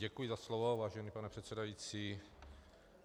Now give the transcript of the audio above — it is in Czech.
Děkuji za slovo, vážený pane předsedající.